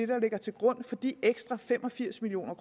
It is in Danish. der ligger til grund for de ekstra fem og firs million